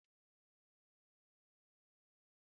Nke ahụ ọ̀ bụ ihe ọchị?